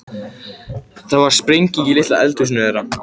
Það varð sprenging í litla eldhúsinu þeirra.